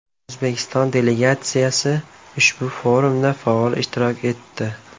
O‘zbekiston delegatsiya ushbu forumda faol ishtirok etdi.